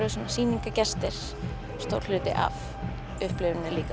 sýningargestir stór hluti af upplifuninni líka